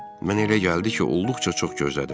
Mənə elə gəldi ki, olduqca çox gözlədim.